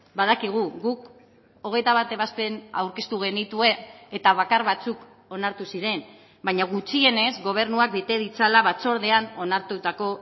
badakigu guk hogeita bat ebazpen aurkeztu genituen eta bakar batzuk onartu ziren baina gutxienez gobernuak bete ditzala batzordean onartutako